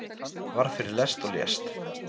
Varð fyrir lest og lést